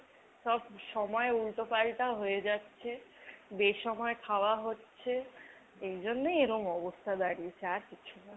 সব সময় উল্টো পাল্টা হয়ে যাচ্ছে, বেসময় খাওয়া হচ্ছে। এ জন্যেই এরকম অবস্থা দাঁড়িয়েছে আর কিছু না।